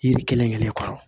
Yiri kelen kelen kɔrɔ